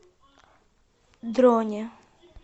дроне